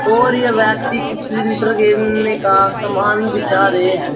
और यह व्यक्ति कुछ लेंटर घेरने का सामान बिछा रहे हैं।